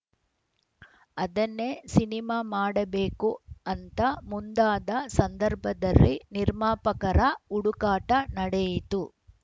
ಅದನ್ನೇ ಸಿನಿಮಾ ಮಾಡಬೇಕು ಅಂತ ಮುಂದಾದ ಸಂದರ್ಭದಲ್ಲಿ ನಿರ್ಮಾಪಕರ ಹುಡುಕಾಟ ನಡೆಯಿತು